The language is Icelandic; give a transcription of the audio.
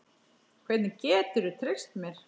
Hvernig geturðu treyst mér?